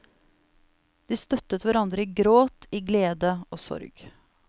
De støttet hverandre i gråt, i glede og sorg.